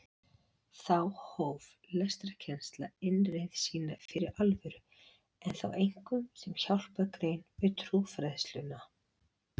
Þá hóf lestrarkennsla innreið sína fyrir alvöru en þá einkum sem hjálpargrein við trúfræðsluna.